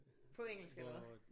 På engelsk eller hvad?